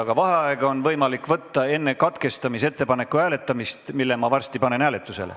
Aga vaheaega on võimalik võtta enne katkestamisettepaneku hääletamist ja selle panen ma varsti hääletusele.